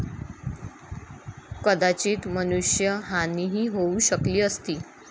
कदाचित मनुष्य हानीही होऊ शकली असती.